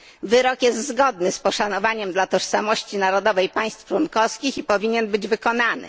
Wyrok jest zgodny z poszanowaniem dla tożsamości narodowej państw członkowskich i powinien być wykonany.